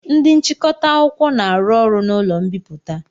Ndị nchịkọta akwụkwọ na-arụ ọrụ n'ụlọ mbipụta.